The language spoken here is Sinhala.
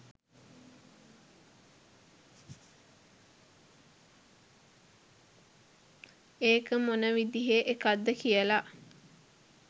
ඒක මොන විදිහේ එකක්ද කියලා